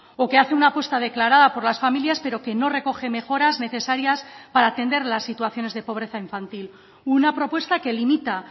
o que hace una apuesta declarada por las familias pero que no recoge mejoras necesarias para atender las situaciones de pobreza infantil una propuesta que limita